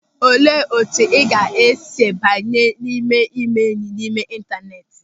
Olee etu ị ga-esi banye n'ime ịme enyị n'ime intaneeti?